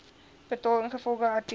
betaal ingevolge artikel